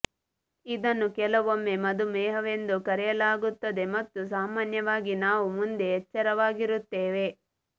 ಇದನ್ನು ಕೆಲವೊಮ್ಮೆ ಮಧುಮೇಹವೆಂದು ಕರೆಯಲಾಗುತ್ತದೆ ಮತ್ತು ಸಾಮಾನ್ಯವಾಗಿ ನಾವು ಮುಂದೆ ಎಚ್ಚರವಾಗಿರುತ್ತೇವೆ